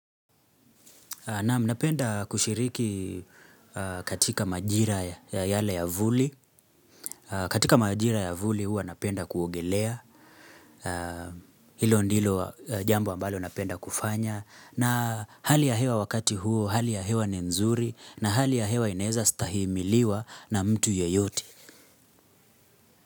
Naam, napenda kushiriki katika majira ya yale ya vuli. Katika majira ya vuli huwa napenda kuogelea hilo ndilo jambo ambalo napenda kufanya. Na hali ya hewa wakati huo, hali ya hewa ni nzuri na hali ya hewa inaeza stahimiliwa na mtu yeyote.